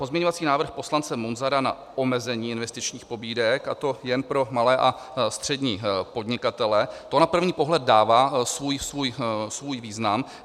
Pozměňovací návrh poslance Munzara na omezení investičních pobídek, a to jen pro malé a střední podnikatele, to na první pohled dává svůj význam.